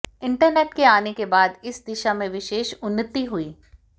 internet के आने के बाद इस दिशा में विशेष उन्नती हुई